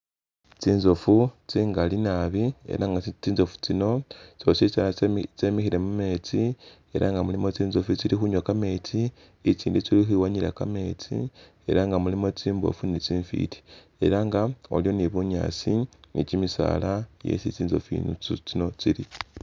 Tsintsofu tsingali nabi ela nga tsintsofu tsino tsositsana tsemikhile mumetsi ela nga mulimu tsintsofu tsili khunywa kametsi, itsindi tsili khukhwiwanyila kametsi ela ngamulimu tsimbofu ni tsifiti ela nga waliwo bunyasi ni kyimisala isi tsintsofu tsino tsili.